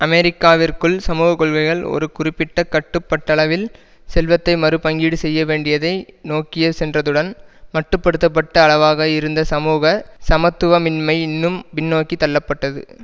அமெரிக்காவிற்குள் சமூகக்கொள்கைகள் ஒரு குறிப்பிட்ட கட்டுப்பட்டளவில் செல்வத்தை மறுபங்கீடு செய்யவேண்டியதை நோக்கிய சென்றதுடன் மட்டு படுத்த பட்ட அளவாக இருந்த சமூக சமத்துவமின்மை இன்னும் பின்நோக்கி தள்ளப்பட்டது